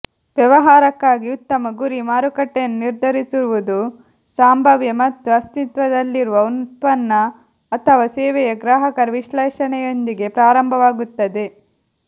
ವ್ಯವಹಾರಕ್ಕಾಗಿ ಉತ್ತಮ ಗುರಿ ಮಾರುಕಟ್ಟೆಯನ್ನು ನಿರ್ಧರಿಸುವುದು ಸಂಭಾವ್ಯ ಮತ್ತು ಅಸ್ತಿತ್ವದಲ್ಲಿರುವ ಉತ್ಪನ್ನ ಅಥವಾ ಸೇವೆಯ ಗ್ರಾಹಕರ ವಿಶ್ಲೇಷಣೆಯೊಂದಿಗೆ ಪ್ರಾರಂಭವಾಗುತ್ತದೆ